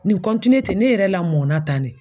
tɛ ne yɛrɛ la mɔn na tan ne.